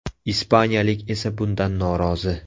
Ispaniyalik esa bundan norozi.